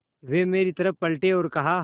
वे मेरी तरफ़ पलटे और कहा